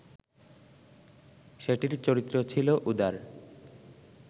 সেটির চরিত্র ছিল উদার